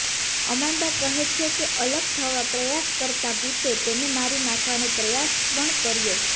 Amanda કહે છે કે અલગ થવા પ્રયાસ કરતાં ભૂતે તેને મારી નાખવાનો પ્રયાસ પણ કર્યો